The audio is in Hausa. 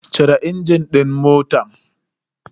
Cire injin din motan.